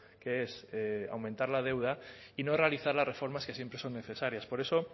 que es aumentar la deuda y no realizar las reformas que siempre son necesarias por eso